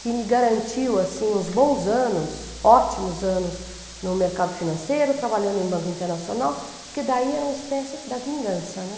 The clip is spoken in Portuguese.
que me garantiu, assim, uns bons anos, ótimos anos no mercado financeiro, trabalhando em banco internacional, porque daí era uma espécie da vingança, né?